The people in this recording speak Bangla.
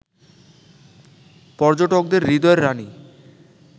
পর্যটকদের হৃদয়ের রানী